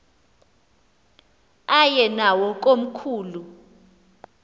aye nawo komkhulu